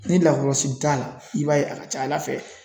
Ni lakɔlɔsili t'a la i b'a ye a ka ca ala fɛ